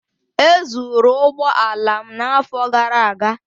E zụrụ ụgbọ ala m n'afọ gara aga.